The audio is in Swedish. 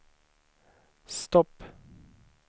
stopp